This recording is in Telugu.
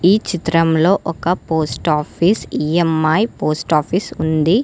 ఈ చిత్రంలో ఒక post office E M I post office ఉంది.